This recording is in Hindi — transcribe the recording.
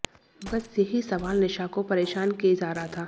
बस यही सवाल निशा को परेशान किए जा रहा था